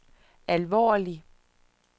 alvorlig